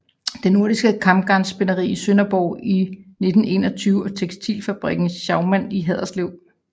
Det Nordiske Kamgarnsspinderi i Sønderborg i 1921 og tekstilfabrikken Schaumann i Haderslev